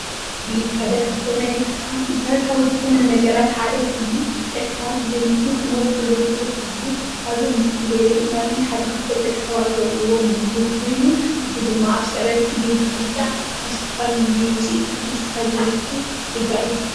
ምግቢ ሓደ ካብቶም ናይ ደቂ ሰባት መሰረታዊ ዝኮኑ ነገራት ሓደ ኮይኑ ደቂ ሰባት ብዘይ ምግቢ ክነብሩ ከምዘይክእሉ ኩሉ ኣብዛ ምስሊ ንርእዮ ዘለና ድማ ሓደ ካብቶም ደቂ ሰባት ዝበልዕዎ ምግቢ ኮይኑ እዚ ድማ ኣብ ስዕረት ግዝየ ዝብላዕ ካብ ዝተፈላለዮ ውፅኢታት እንስሳ ዝርከብ ስጋ እዩ ።